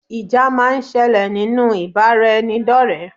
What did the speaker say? Ìjà máa ń sẹlẹ̀ nínú ìbáraẹnidọ́rẹ.